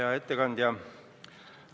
Hea ettekandja!